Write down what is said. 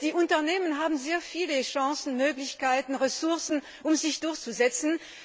Die Unternehmen haben sehr viele Chancen, Möglichkeiten und Ressourcen, um sich durchzusetzen.